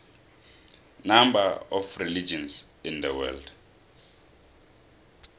number of religions in the world